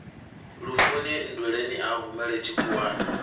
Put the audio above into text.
lufuni nndweleni a humela tshikhuwani